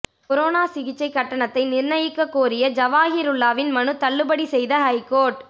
corona சிகிச்சை கட்டணத்தை நிர்ணயிக்க கோரிய ஜவாஹிருல்லாவின் மனு தள்ளுபடி செய்த ஹைகோர்ட்